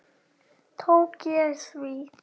Tók ég því?